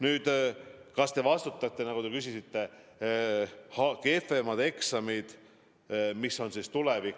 Nüüd, kas me vastutame, nagu te küsisite, kehvemate eksamitulemuste eest?